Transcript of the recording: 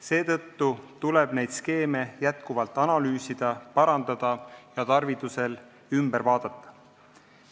Seetõttu tuleb neid skeeme jätkuvalt analüüsida, parandada ja tarvidusel üle vaadata.